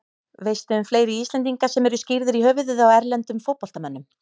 Veistu um fleiri Íslendinga sem eru skírðir í höfuðið á erlendum fótboltamönnum?